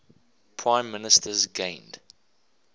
prime ministers gained